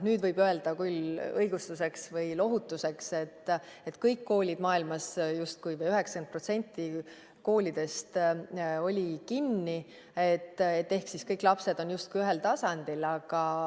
Nüüd võib öelda küll õigustuseks või lohutuseks, et justkui kõik koolid maailmas, 90% koolidest olid kinni ehk siis kõik lapsed on justkui ühel tasandil.